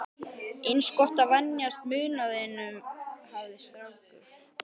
Eins gott að venjast munaðinum, hafði strákur